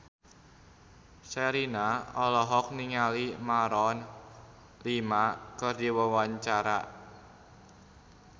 Sherina olohok ningali Maroon 5 keur diwawancara